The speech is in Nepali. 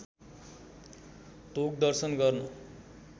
ढोग दर्शन गर्न